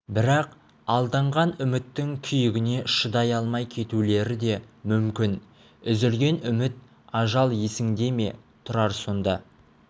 бірақ алданған үміттің күйігіне шыдай алмай кетулері де мүмкін үзілген үміт ажал есіңде ме тұрар сонда